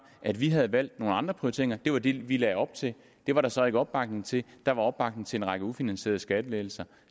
at vi havde valgt nogle andre prioriteringer det var det vi lagde op til det var der så ikke opbakning til der var opbakning til en række ufinansierede skattelettelser